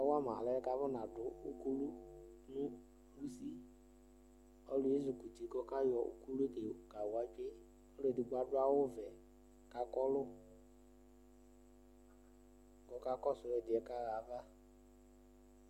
Ɔkawama alɛnɛ akunadʋ ukulu nʋ usiƆluɛ ezukuti kayɔ ukulue kawatsoeƆlu edigbo adʋ awu vɛ kakɔlu, kɔkakɔsʋ ɛdiɛ kɔyaba